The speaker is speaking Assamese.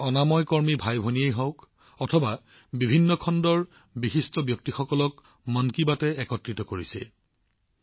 অনাময় কৰ্মচাৰী ভাইভনী হওক বা বিভিন্ন খণ্ডৰ ব্যক্তিয়েই হওঁক মন কী বাতে সকলোকে একত্ৰিত কৰিবলৈ চেষ্টা কৰিছে